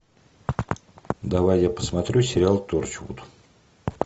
давай я посмотрю сериал торчвуд